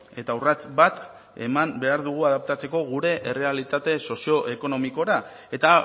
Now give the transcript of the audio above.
eta urrats bat eman behar dugu adaptatzeko errealitate sozio ekonomikora eta